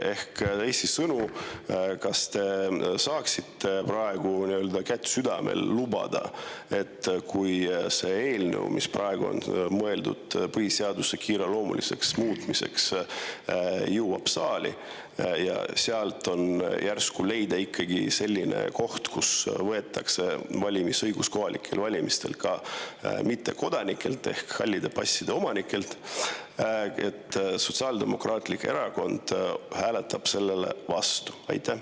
Ehk teisisõnu: kas te saaksite praegu kätt südamel hoides lubada, et kui see eelnõu, millega on mõeldud põhiseadust kiireloomuliselt muuta, jõuab saali ja sealt leiab järsku ikkagi sellise koha, millega võetakse valimisõigus kohalikel valimistel ka mittekodanikelt ehk halli passi omanikelt, siis Sotsiaaldemokraatlik Erakond hääletab sellele vastu?